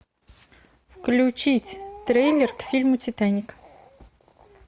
включить трейлер к фильму титаник